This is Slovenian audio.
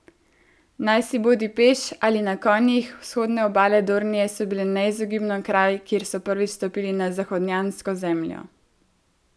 Najsi bodi peš ali na konjih, vzhodne obale Dornije so bile neizogibno kraj, kjer so prvič stopili na zahodnjansko zemljo.